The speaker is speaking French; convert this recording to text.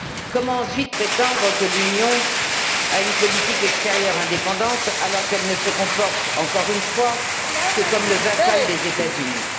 Comment ensuite prétendre que l'Union a une politique extérieure indépendante, alors qu'elle ne se comporte, encore une fois, que comme le vassal des États Unis?